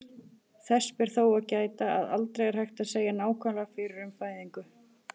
Þess ber þó að gæta, að aldrei er hægt að segja nákvæmlega fyrir um fæðingu.